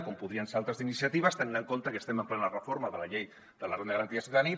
com podrien ser altres iniciatives tenint en compte que estem en plena reforma de la llei de la renda garantida de ciutadania